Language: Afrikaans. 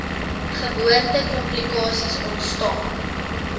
geboorte komplikasies ontstaan